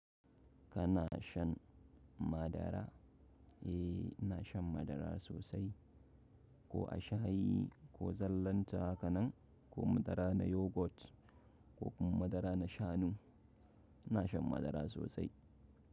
Kana shan madara? Eh, ina shan madara sosai. Ko a shayi ko zallanta haka nan ko madara na yogurt ko kuma madara na shanu. Ina shan madara sosai.